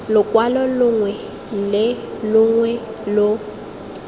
lokwalo longwe le longwe lo